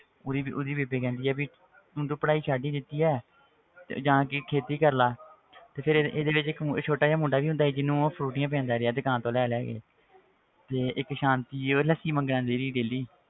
ਉਹਦੀ ਉਹਦੀ ਬੇਬੇ ਕਹਿੰਦੀ ਆ ਵੀ ਹੁਣ ਤੂੰ ਪੜ੍ਹਾਈ ਛੱਡ ਹੀ ਦਿੱਤੀ ਹੈ ਤੇ ਜਾ ਕੇ ਖੇਤੀ ਕਰ ਲਾ ਤੇ ਫਿਰ ਇਹਦੇ ਵਿੱਚ ਇੱਕ ਮੁ~ ਇੱਕ ਛੋਟਾ ਜਿਹਾ ਮੁੰਡਾ ਵੀ ਹੁੰਦਾ ਜਿਹਨੂੰ ਉਹ ਫਰੂਟੀਆਂ ਪਿਲਾਉਂਦਾ ਰਿਹਾ ਦੁਕਾਨ ਤੋਂ ਲਿਆ ਲਿਆ ਕੇ ਤੇ ਇੱਕ ਸਾਂਤੀ ਸੀ ਉਹ ਲੱਸੀ ਮੰਗਣ ਆਉਂਦੀ ਸੀ daily